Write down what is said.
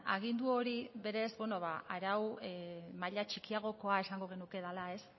agindu hori berez arau maila txikiagokoa esango genuke dela ez